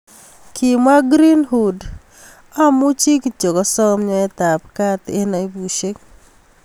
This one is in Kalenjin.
Kimwa Greenwood, amuchi kityo asom nyoote ab kat eng aibusiek.